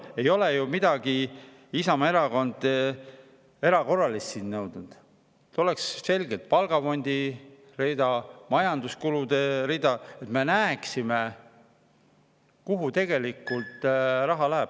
Ei ole ju Isamaa Erakond nõudnud midagi erakorralist: et oleks selgelt palgafondi rida ja majanduskulude rida, et me näeksime, kuhu raha tegelikult läheb.